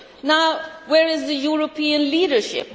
Now, where is the European leadership?